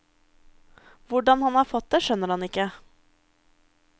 Hvordan han har fått det, skjønner han ikke.